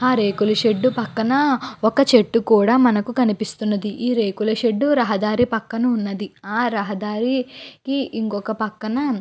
ఆ రేకులషెడ్ పక్కన ఒక చేట్టు కూడా మనకి కనిపిస్తూ వున్నది ఈ రేకుల షెడ్ రహదారి పక్కన వున్నది ఆ రహదారికి ఇంకొక పక్కన --